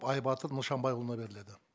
байбатыр нышанбайұлына беріледі